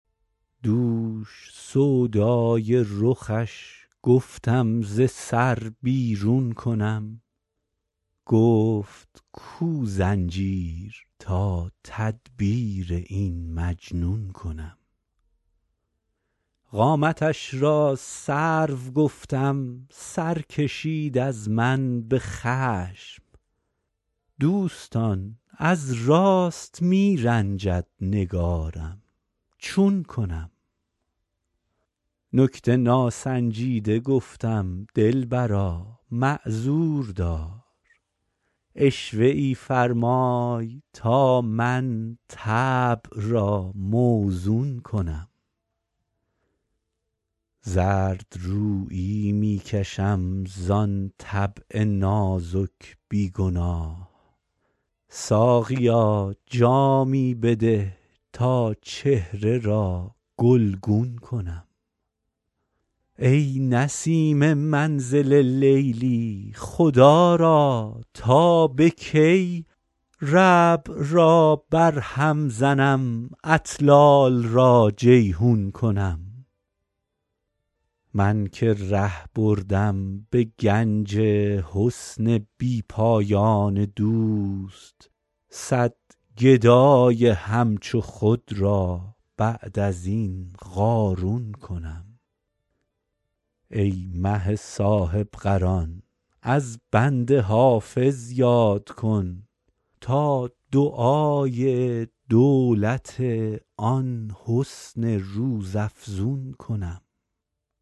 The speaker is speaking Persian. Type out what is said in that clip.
دوش سودای رخش گفتم ز سر بیرون کنم گفت کو زنجیر تا تدبیر این مجنون کنم قامتش را سرو گفتم سر کشید از من به خشم دوستان از راست می رنجد نگارم چون کنم نکته ناسنجیده گفتم دلبرا معذور دار عشوه ای فرمای تا من طبع را موزون کنم زردرویی می کشم زان طبع نازک بی گناه ساقیا جامی بده تا چهره را گلگون کنم ای نسیم منزل لیلی خدا را تا به کی ربع را برهم زنم اطلال را جیحون کنم من که ره بردم به گنج حسن بی پایان دوست صد گدای همچو خود را بعد از این قارون کنم ای مه صاحب قران از بنده حافظ یاد کن تا دعای دولت آن حسن روزافزون کنم